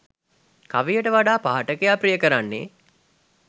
කවියට වඩා පාඨකයා ප්‍රිය කරන්නේ